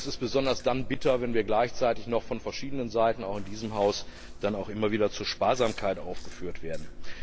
tun! Das ist besonders dann bitter, wenn wir gleichzeitig noch von verschiedenen Seiten auch in diesem Haus immer wieder zur Sparsamkeit aufgefordert werden!